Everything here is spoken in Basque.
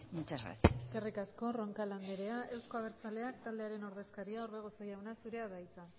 muchas gracias eskerrik asko roncal andrea euzko abertzaleak taldearen ordezkaria orbegozo jauna zurea da hitza